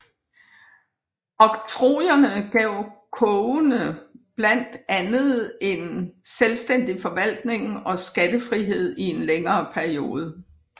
Oktrojerne gav kogene blandt andet en selvstændig forvaltning og skattefrihed i en længere periode